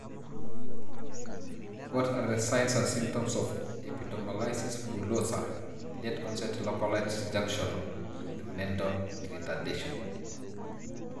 What are the signs and symptoms of Epidermolysis bullosa, late onset localized junctional, with mental retardation?